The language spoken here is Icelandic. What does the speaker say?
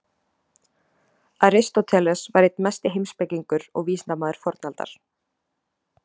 aristóteles var einn mesti heimspekingur og vísindamaður fornaldar